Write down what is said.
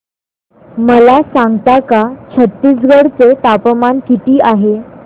मला सांगता का छत्तीसगढ चे तापमान किती आहे